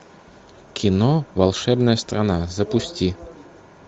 кино волшебная страна запусти